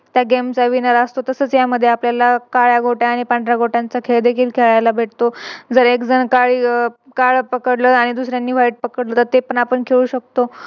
तर Game चा Winner असतो. तसच यामध्ये आपल्याला काळ्या गोट्या आणि पांढऱ्या गोट्यांचा खेळ देखील खेळायला भेटतो जर एक जण काळी काळ पकडलं आणि दुसऱ्यांनी White पकडलं ते पण आपण खेळू शकतो.